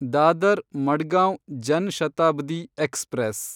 Dadar Madgaon Jan Shatabdi express